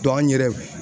an yɛrɛ